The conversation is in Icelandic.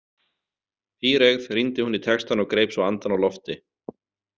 Píreygð rýndi hún í textann og greip svo andann á lofti.